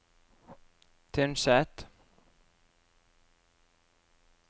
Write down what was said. Tynset